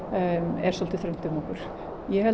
er svolítið þröngt um okkur ég held